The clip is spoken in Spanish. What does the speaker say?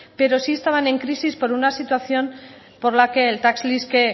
pero sí estaban en crisis por una situación por la que el tax lease que